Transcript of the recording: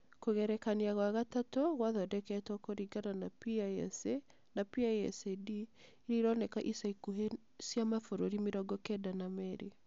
Kũgerekania gwa gatatũ gwathondeketwo kũringana na PISA na PISA-D iria ironeka ica ikuhĩ cia mabũrũri mĩrongo kenda na meerĩ.